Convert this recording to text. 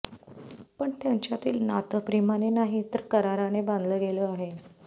पण त्यांच्यातील नातं प्रेमाने नाही तर कराराने बांधलं गेलं आहे